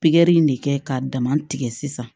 Pikiri in de kɛ ka dama tigɛ sisan